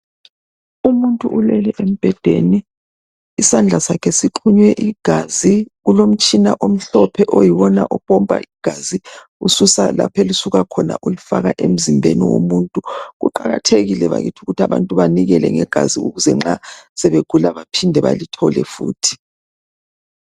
Umuntu ulele embhedeni isandla sakhe sixhunywe igazi kulomtshina omhlophe oyiwona opompa igazi ususa lapho elisuka khona ulifaka emzimbeni womuntu. Kuqakathekile bakithi ukuthi abantu banikele ngegazi ukuze nxa sebegula baphinde balithole futhi